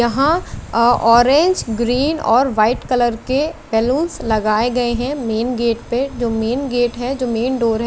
यहाँ अ orange green और व्हाइट कलर के बलूनस लगाए गए है मेन गेट पे जो मेन गेट है जो मेन डोर है।